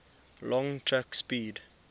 long track speed